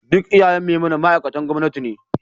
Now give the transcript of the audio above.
Duk iyayen Memunant ma'aikatan gwamnati ne